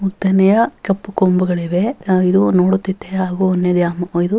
ಉದ್ದನೆಯ ಕಪ್ಪು ಕೊಂಬುಗಳಿವೆ ಇವೆ ಅದು ನೊಡುತಿದೆ .]